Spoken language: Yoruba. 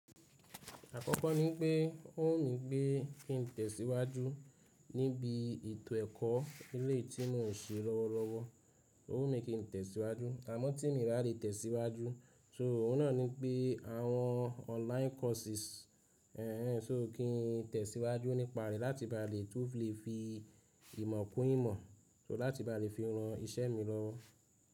Àkọ́kọ́ ni pé ó wù mí pé kí n tẹ̀síwájú níbi ètò ẹ̀kọ́ eleyii tí mon ṣe lọ́wọ́lọ́wọ́. Ó wù mí kí n tẹ̀síwájú, àmọ́ tí mi bá lè tẹ̀síwájú, só òun náà ni pé àwọn online courses, éèń so kí n tẹ̀síwájú nípa re láti bá lè, tó fi lè fi ìmọ̀ kún ìmọ̀, só láti bá lè fi ran iṣẹ́ mi lọ.